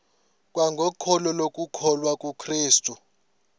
kwangokholo lokukholwa kukrestu